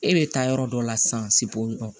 E bɛ taa yɔrɔ dɔ la sisan o